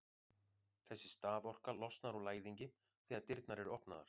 þessi staðorka losnar úr læðingi þegar dyrnar eru opnaðar